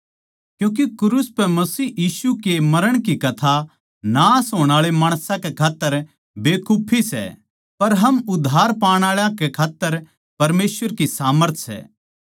क्यूँके क्रूस पै मसीह यीशु के मरण की कथा नाश होण आळे माणसां कै खात्तर बेकुफी सै पर हम उद्धार पाण आळा कै खात्तर परमेसवर की सामर्थ सै